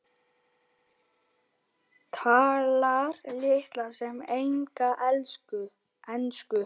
Talar litla sem enga ensku.